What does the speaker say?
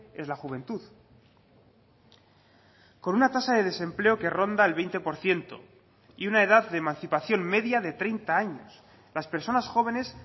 es la juventud con una tasa de desempleo que ronda el veinte por ciento y una edad de emancipación media de treinta años las personas jóvenes